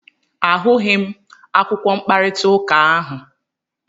A hụghị m akwụkwọ mkparịta ụka ahụ.